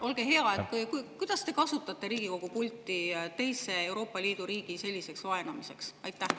Olge hea, miks te kasutate Riigikogu pulti teise Euroopa Liidu riigi selliseks vaenamiseks.